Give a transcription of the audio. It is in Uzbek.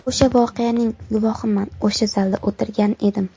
O‘sha voqeaning guvohiman o‘sha zalda o‘tirgan edim.